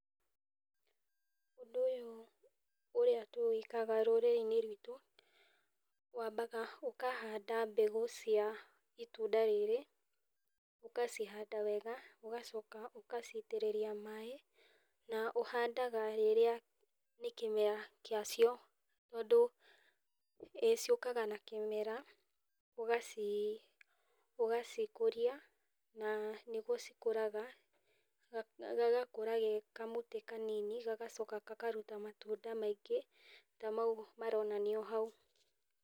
Ũndũ ũyũ ũrĩa tũwĩkaga rũrĩrĩ-inĩ rwitũ, wambaga ũkahanda mbegũ cia itunda rĩrĩ, ũkacihanda wega ũgacoka ũkacitĩrĩria maaĩ, na ũhandaga rĩrĩa nĩkĩmera kĩa cio, tondũ ciũkaga na kĩmera, ũgaci ũgacikũrĩa, nĩguo cikũraga, gagakura ge kamũtĩ kanini, gagacoka gakaruta matunda maingĩ ta mau maronanio hau.